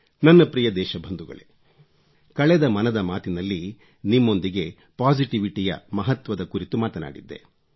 ನನ್ನ ಪ್ರಿಯ ದೇಶಬಂಧುಗಳೇ ಕಳೆದ ಮನದ ಮಾತಿನಲ್ಲಿ ನಿಮ್ಮೊಂದಿಗೆ ಪಾಸಿಟಿವಿಟಿ ಯ ಮಹತ್ವದ ಕುರಿತು ಮಾತನಾಡಿದ್ದೆ